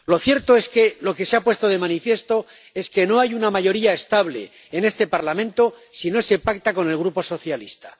Lo cierto es que lo que se ha puesto de manifiesto es que no hay una mayoría estable en este Parlamento si no se pacta con el Grupo Socialista.